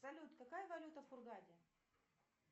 салют какая валюта в хургаде